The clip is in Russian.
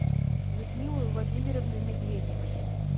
людмилы владимировны медведевой